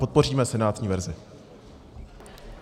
Podpoříme senátní verzi.